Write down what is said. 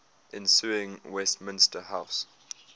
ensuing westminster house